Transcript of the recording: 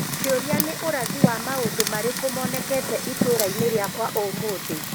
Kĩũria ni urathi wa maũndũ mariko monekete itũũra-inĩ rĩakwa ũmũthĩ?